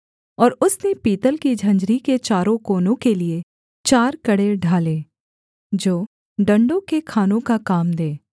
और उसने पीतल की झंझरी के चारों कोनों के लिये चार कड़े ढाले जो डण्डों के खानों का काम दें